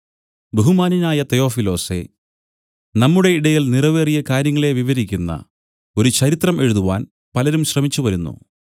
ബഹുമാന്യനായ തെയോഫിലോസേ നമ്മുടെ ഇടയിൽ നിറവേറിയ കാര്യങ്ങളെ വിവരിക്കുന്ന ഒരു ചരിത്രം എഴുതാൻ പലരും ശ്രമിച്ചു വരുന്നു